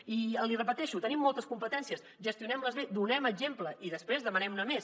i l’hi repeteixo tenim moltes competències gestionem les bé donem exemple i després demanem ne més